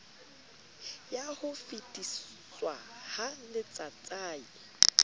ya ho fetiswa ha letsatsai